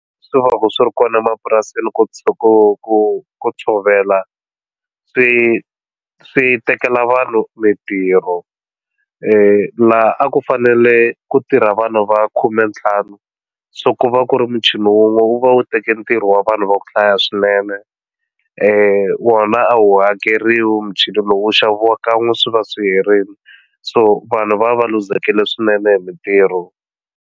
Swi va swi ri kona emapurasini ku tshuka ku ku ku tshovela swi swi tekela vanhu mitirho la a ku fanele ku tirha vanhu va khume ntlhanu so ku va ku ri muchini wun'we wu va wu teke ntirho wa vanhu va ku hlaya swinene wona a wu hakeriwi muchini lowu wu xaviwaka kan'we swi va swi herile so vanhu va va luzekile swinene hi mitirho.